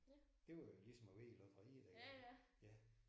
Det var jo ligesom at vinde i lotteriet dengang